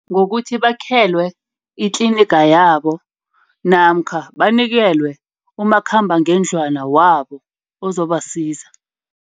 Ngokuthi bakhelwe itliniga, yabo namkha banikelwe umakhambangendlwana wabo ozobasiza.